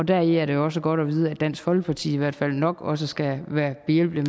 deri er det også godt at vide at dansk folkeparti i hvert fald nok også skal være behjælpelig